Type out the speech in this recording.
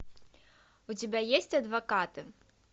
у тебя есть адвокаты